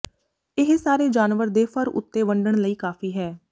ਇਹ ਸਾਰੇ ਜਾਨਵਰ ਦੇ ਫਰ ਉੱਤੇ ਵੰਡਣ ਲਈ ਕਾਫ਼ੀ ਹੈ